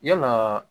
Yalaa